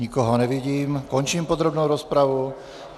Nikoho nevidím, končím podrobnou rozpravu.